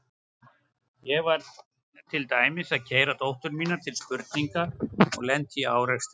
Ég var til dæmis að keyra dóttur mína til spurninga og lenti í árekstri.